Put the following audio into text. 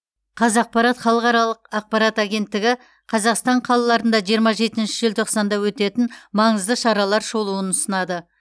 қазақпарат халықаралық ақпарат агенттігі қазақстан қалаларында жиырма жетінші желтоқсанда өтетін маңызды шаралар шолуын ұсынады